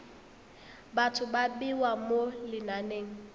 batho ba bewa mo lenaneng